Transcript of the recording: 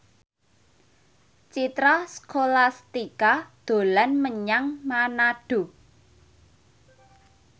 Citra Scholastika dolan menyang Manado